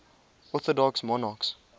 orthodox monarchs